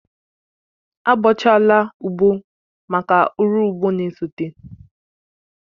A bọchaala ugbo máká ụrọ ugbo na-esote